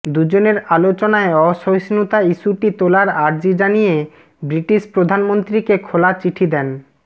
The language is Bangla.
দুজনের আলোচনায় অসহিষ্ণুতা ইস্যুটি তোলার আর্জি জানিয়ে ব্রিটিশ প্রধানমন্ত্রীকে খোলা চিঠি দেন